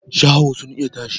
Shaho sun iya tashi